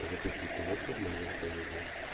запусти киношку в манере комедия